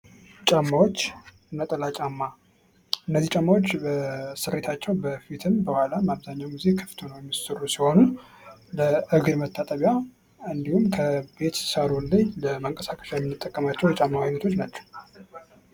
ጫማዎች ነጠላ ጫማ እነዚህ ጫማዎች በስሬታቸው በፊትም በኋላ ክፍት ሆነው የሚሰሩ ለእግር መጣጥቢያ እንዲሁም ከቤት ሳሎን ላይ ለመንቀሳቀስ የምንጠቀምባቸው የጫማ አይነቶች ናቸው።